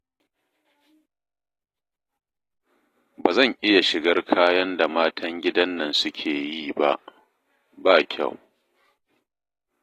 Ba zan iya shigar kayan da matan gidan nan suke yi ba, ba kyau!